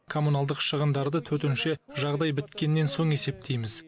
коммуналдық шығындарды төтенше жағдай біткеннен соң есептейміз